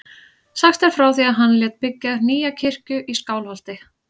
Sagt er frá því að hann lét byggja nýja kirkju í Skálholti.